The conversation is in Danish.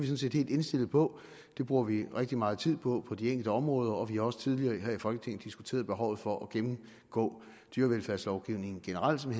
set helt indstillet på det bruger vi rigtig meget tid på på de enkelte områder og vi har også tidligere her i folketinget diskuteret behovet for at gennemgå dyrevelfærdslovgivning generelt med